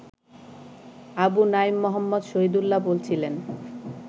আবু নাঈম মোহাম্মদ শহীদুল্লাহ বলছিলেন